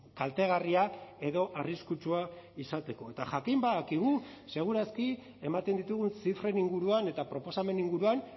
kaltegarria edo arriskutsua izateko eta jakin badakigu segur aski ematen ditugun zifren inguruan eta proposamen inguruan